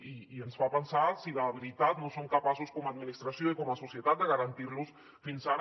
i ens fa pensar si de veritat no som capaços com a administració i com a societat de garantir los fins ara